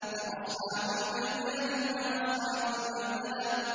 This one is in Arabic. فَأَصْحَابُ الْمَيْمَنَةِ مَا أَصْحَابُ الْمَيْمَنَةِ